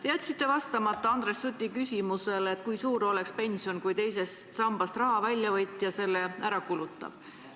Te jätsite vastamata Andres Suti küsimusele, kui suur oleks pension, kui teisest sambast raha välja võtja selle ära kulutab.